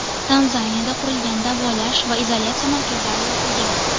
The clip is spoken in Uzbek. Tanzaniyada qurilgan davolash va izolyatsiya markazlari yopilgan.